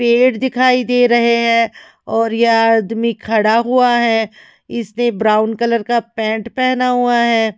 पेड़ दिखाई दे रहे हैं और यह आदमी खड़ा हुआ है इसने ब्राऊन कलर का पैंट पेहना हुआ है।